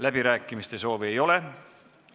Läbirääkimiste soovi ei ole.